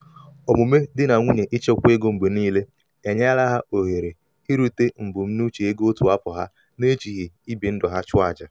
omume di na nwunye ichekwa ego mgbe niile enyela ha ohere irute mbunuche ego otu afọ ha na-ejighị ibi ndụ ha chụọ aja.